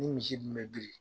Ni misi kun mɛ biri